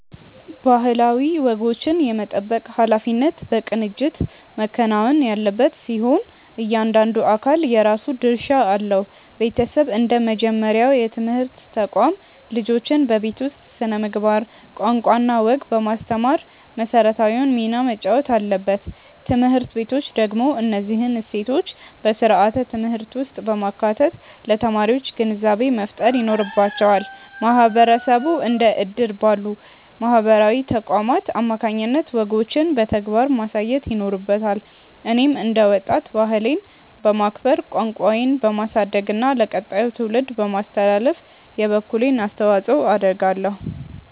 ባህላዊ ወጎችን የመጠበቅ ኃላፊነት በቅንጅት መከናወን ያለበት ሲሆን፣ እያንዳንዱ አካል የራሱ ድርሻ አለው። ቤተሰብ እንደ መጀመሪያው የትምህርት ተቋም፣ ልጆችን በቤት ውስጥ ስነ-ምግባር፣ ቋንቋና ወግ በማስተማር መሰረታዊውን ሚና መጫወት አለበት። ትምህርት ቤቶች ደግሞ እነዚህን እሴቶች በስርዓተ-ትምህርት ውስጥ በማካተት ለተማሪዎች ግንዛቤ መፍጠር ይኖርባቸዋል። ማህበረሰቡ እንደ እድር ባሉ ማህበራዊ ተቋማት አማካኝነት ወጎችን በተግባር ማሳየት ይኖርበታል። እኔም እንደ ወጣት፣ ባህሌን በማክበር፣ ቋንቋዬን በማሳደግና ለቀጣዩ ትውልድ በማስተላለፍ የበኩሌን አስተዋጽኦ አደርጋለሁ።